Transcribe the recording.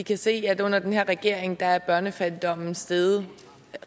kan se at under den her regering er børnefattigdommen steget